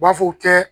U b'a fɔ u tɛ